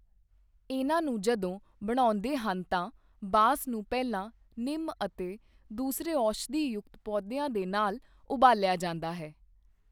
ਇਨ੍ਹਾਂ ਨੂੰ ਜਦੋਂ ਬਣਾਉਦੇ ਹਨ ਤਾਂ ਬਾਂਸ ਨੂੰ ਪਹਿਲਾਂ ਨਿਮ ਅਤੇ ਦੂਸਰੇ ਔਸ਼ਧੀ ਯੁਕਤ ਪੌਦਿਆਂ ਦੇ ਨਾਲ ਉਬਾਲਿਆ ਜਾਂਦਾ ਹੈ।